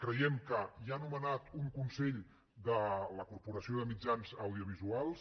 creiem que hi ha nomenat un consell de la corporació de mitjans audiovisuals